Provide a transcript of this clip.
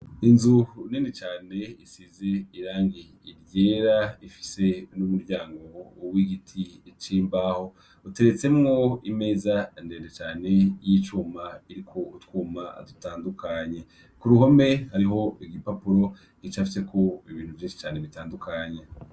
Inzu nini cane isize irangi ryera ifise n' umuryango w' igiti c' imbaho iteretsemwo imeza ndende cane ya icuma iriko utwuma dutandukanye kuruhome hariho igipapuro gicafyeko ibintu vyinshi cane.